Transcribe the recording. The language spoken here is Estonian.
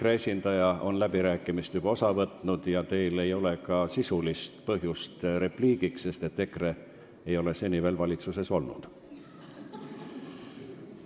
EKRE esindaja on läbirääkimistel juba sõna võtnud ja teil ei ole ka sisulist põhjust repliigiks, sest EKRE ei ole seni veel valitsuses olnud.